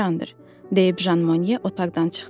deyib Jan Mone otaqdan çıxdı.